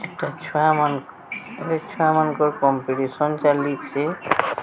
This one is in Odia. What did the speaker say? ଛୋଟ ଛୁଆ ମାନକ ଛୁଆ ମାନଙ୍କର କମ୍ପିଟିସନ ଚାଲିଚି।